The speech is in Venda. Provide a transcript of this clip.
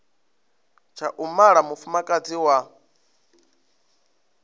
tsha u mala mufumakadzi wa